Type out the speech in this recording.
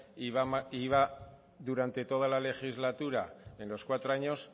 y va durante toda la legislatura en los cuatro años